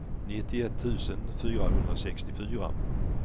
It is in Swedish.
nittioett tusen fyrahundrasextiofyra